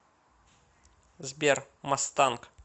сбер масстанк